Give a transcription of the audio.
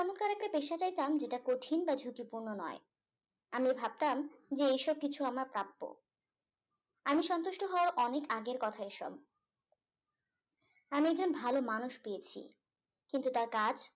একটা পেশা চাইতাম যেটা কঠিন বা ঝুঁকিপূর্ণ নয় আমি ভাবতাম এই সব কিছু আমার প্রাপ্য আমি সন্তুষ্ট হওয়ার অনেক আগের কথা এসব আমি একজন ভালো মানুষ পেয়েছি কিন্তু তার কাজ